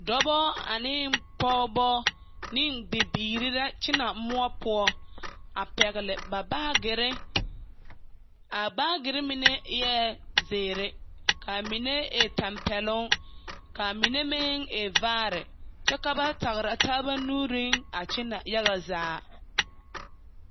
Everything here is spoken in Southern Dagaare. Dͻbͻ ane pͻgebͻ ne bibiiri lakyԑnԑ mõͻ poͻ a pԑgele ba baagere. A baagere mine eԑ zeere kaa mine tampԑloŋ kaa mine meŋ e vaare kyԑ ka ba tagera taaba nuuriŋ kyԑnԑ yaga zaa.